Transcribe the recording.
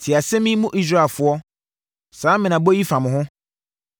Tie asɛm yi, mo Israelfoɔ, saa mmenabɔ yi fa mo ho: